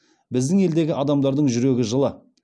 біздің елдегі адамдардың жүрегі жылы